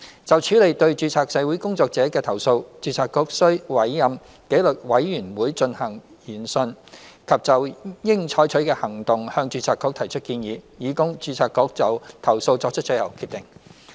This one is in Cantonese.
就處理對註冊社會工作者的投訴，註冊局須委任紀律委員會進行研訊及就應採取的行動向註冊局提出建議，以供註冊局就投訴作出最後決定。